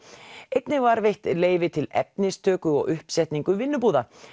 einnig var veitt leyfi til efnistöku og uppsetningu vinnubúða